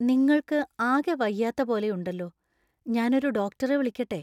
നിങ്ങൾക്ക് ആകെ വയ്യാത്ത പോലെയുണ്ടല്ലോ. ഞാൻ ഒരു ഡോക്ടറെ വിളിക്കട്ടെ?